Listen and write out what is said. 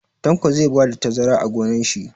Tanko zai bada tazara a gonon shi